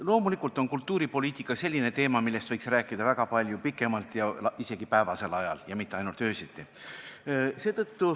Loomulikult on kultuuripoliitika selline teema, millest võiks rääkida väga palju pikemalt ja isegi päevasel ajal, mitte ainult öösiti.